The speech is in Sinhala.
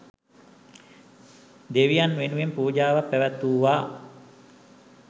දෙවියන් වෙනුවෙන් පූජාවක් පැවැත්වූවා.